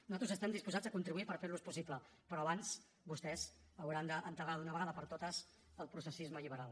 nosaltres estem disposats a contribuir per fer los possibles però abans vostès hauran d’enterrar d’una vegada per totes el processisme liberal